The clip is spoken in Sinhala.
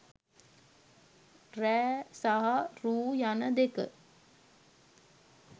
රෑ සහ රූ යනදෙක